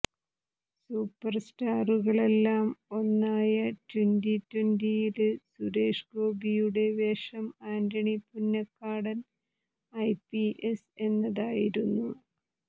super സ്റ്റാറുകളെല്ലാം ഒന്നായ twenty ട്വന്റിയില് സുരേഷ് ഗോപിയുടെ വേഷം ആന്റണി പുന്നക്കാടന് ഐപിഎസ് എന്നതായിരുന്നു